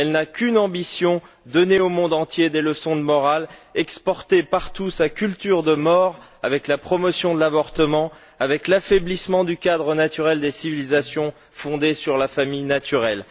Elle n'a qu'une ambition donner au monde entier des leçons de morale, exporter partout sa culture de mort avec la promotion de l'avortement, avec l'affaiblissement du cadre naturel des civilisations fondé sur la famille naturelle.